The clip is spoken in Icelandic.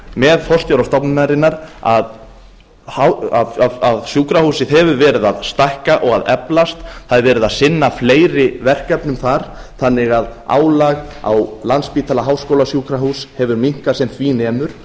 með forstjóra stofnunarinnar að sjúkrahúsið hefur verið að stækka og eflast það er verið að sinna fleiri verkefnum þar þannig að álag á landspítala háskólasjúkrahús hefur minnkað sem því nemur